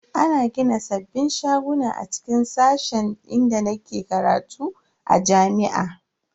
Ana gina sabbin shaguna a cikin sashen inda nake karatu a jami'a.